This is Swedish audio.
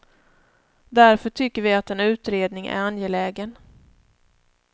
Därför tycker vi att en utredning är angelägen.